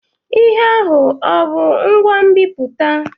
Ihe ahụ ọ wụ ngwa nbiputa?